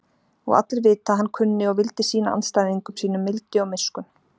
Og allir vita að hann kunni og vildi sýna andstæðingum sínum mildi og miskunn.